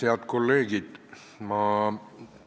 Head kolleegid!